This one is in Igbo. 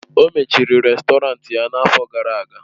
O mechiri rèstọrantị ya n'afọ gara aga.